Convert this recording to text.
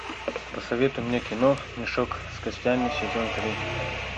посоветуй мне кино мешок с костями сезон три